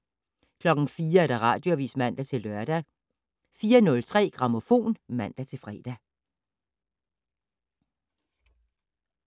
04:00: Radioavis (man-lør) 04:03: Grammofon (man-fre)